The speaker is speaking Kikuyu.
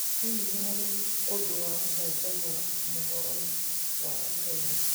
Hihi nĩ harĩ ũndũ wa gũcanjamũra mũhoroni wa ũmũthĩ